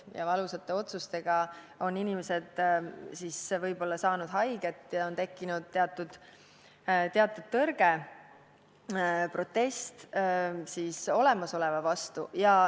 Nende valusate otsustega on inimesed võib-olla saanud haiget ja on tekkinud teatud tõrge, protest olemasoleva vastu.